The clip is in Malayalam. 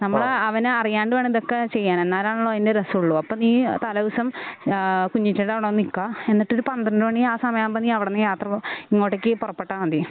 നമ്മള് അവന് അറിയാണ്ട് വേണം ഇതൊക്കെ ചെയ്യാൻ എന്നാലാണല്ലോ അതിൻ്റെ രസമുള്ളൂ അപ്പോ നീ തലേദിവസം ഏഹ് കുഞ്ഞി ചിറ്റെടെ അവിടെ വന്നു നിക്ക എന്നിട്ട് ഒരു പന്ത്രണ്ട് മണി ആ സമയം ആകുമ്പോ നീ അവിടുന്ന് നീ യാത്ര ഇങ്ങോട്ടേക്ക് പുറപ്പെട്ടാൽ മതി.